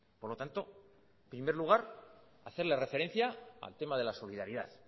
por lo tanto primer lugar hacerle referencia al tema de la solidaridad